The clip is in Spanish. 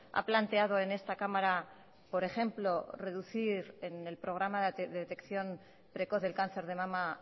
ha planteado en esta cámara por ejemplo reducir en el programa de detección precoz del cáncer de mama